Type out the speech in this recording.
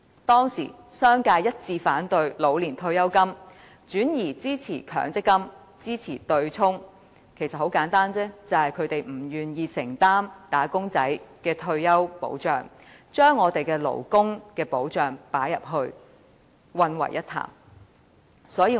當時，商界一致反對老年退休金計劃，轉而支持強積金、支持對沖，理由其實很簡單，他們不願意承擔"打工仔"的退休保障，於是將退休保障與勞工保障混為一談。